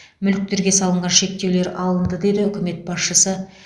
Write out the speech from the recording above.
мүліктерге салынған шектеулер алынды деді үкімет басшысы